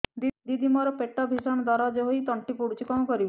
ଦିଦି ମୋର ପେଟ ଭୀଷଣ ଦରଜ ହୋଇ ତଣ୍ଟି ପୋଡୁଛି କଣ କରିବି